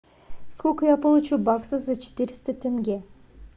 сколько я получу баксов за четыреста тенге